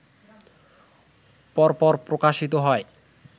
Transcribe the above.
পরপর প্রকাশিত হয়